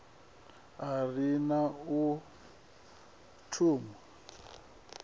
a ri u na thumbu